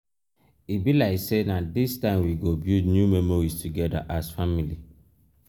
e be like sey na dis time we go build new memories togeda as family.